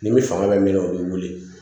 Ni min fanga bɛ min na o b'i wili